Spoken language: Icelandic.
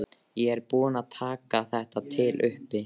Ég er búin að taka þetta til uppi.